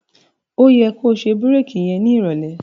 Ó yẹ ko ṣe bírèkì yẹn nírọ̀lẹ́.